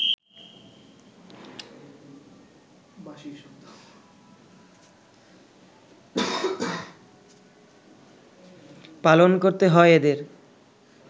পালন করতে হয় এদের